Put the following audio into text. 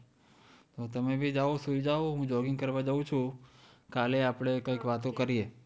હા તો તમે ભી જાવ, સુઈ જાવ, હું jogging કરવાં જઉં છું. કાલે આપડે કંઈક વાતો કરીએ.